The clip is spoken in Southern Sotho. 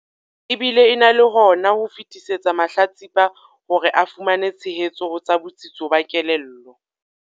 E bile e na le hona ho fetisetsa mahlatsipa hore a fumane tshehetso ho tsa botsitso ba kelello.